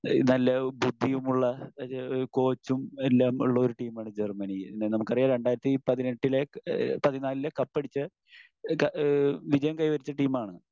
നല്ല ബുദ്ധിയുമുള്ള ഒരു കോച്ചും എല്ലാം ഉള്ള ഒരു ടീമാണ് ജർമ്മനി. നമുക്കറിയാം രണ്ടായിരത്തി പതിനെട്ടിലെ, ഏഹ് പതിനാലിലെ കപ്പടിച്ച ഈഹ് വിജയം കൈവരിച്ച ടീമാണ്